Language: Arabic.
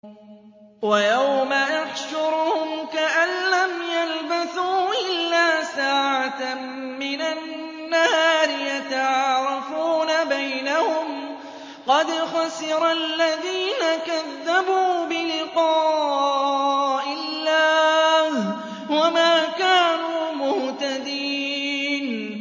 وَيَوْمَ يَحْشُرُهُمْ كَأَن لَّمْ يَلْبَثُوا إِلَّا سَاعَةً مِّنَ النَّهَارِ يَتَعَارَفُونَ بَيْنَهُمْ ۚ قَدْ خَسِرَ الَّذِينَ كَذَّبُوا بِلِقَاءِ اللَّهِ وَمَا كَانُوا مُهْتَدِينَ